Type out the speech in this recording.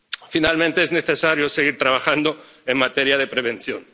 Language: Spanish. Finalmente, es necesario seguir trabajando en materia de prevención.